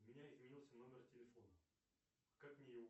у меня изменился номер телефона как мне его